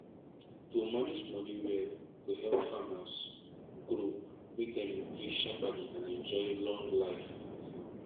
to manage money well go help farmers grow make dem increase shaperly and enjoy long life for farm